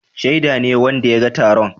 Shaida ne wanda ya ga taron.